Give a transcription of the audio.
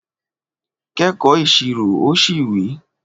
Kẹ́kọ̀ọ́ Ìṣirò! o si wi